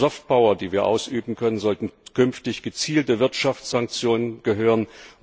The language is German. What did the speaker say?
Zur Soft Power die wir ausüben können, sollten künftig gezielte Wirtschaftssanktionen gehören.